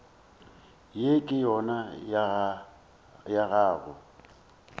ye ke yona ya go